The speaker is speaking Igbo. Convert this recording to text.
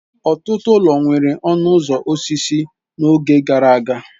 Ọtụtụ ụlọ nwere ọnụ ụzọ osisi n'oge gara aga.